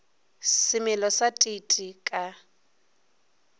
semelo sa t t ka